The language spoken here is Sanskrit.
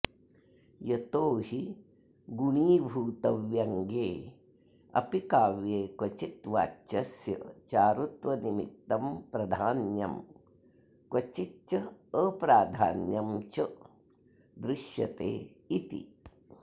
यतो हि गुणीभूतव्यङ्ग्ये अपि काव्ये क्वचिद् वाच्यस्य चारुत्वनिमित्तं प्रधान्यं क्वचिच्च अप्राधान्यं च दृश्यते इति